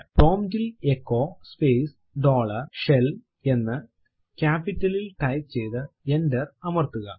prompt ൽ echo space dollar shell എന്ന് ക്യാപ്പിറ്റലിൽ ടൈപ്പ് ചെയ്തു എന്റർ അമർത്തുക